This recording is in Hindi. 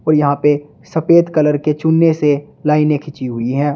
और यहां पे सफेद कलर के चुने से लाइनें खींची हुई हैं।